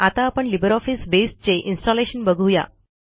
आता आपण LibreOffice Base चे इन्स्टॉलेशन बघू या